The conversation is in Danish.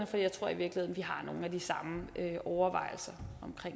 for jeg tror i virkeligheden vi har nogle af de samme overvejelser om